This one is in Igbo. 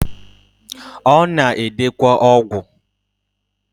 Ona edekwa ogwu.